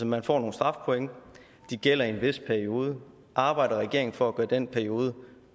man får nogle strafpoint og de gælder i en vis periode arbejder regeringen for at gøre den periode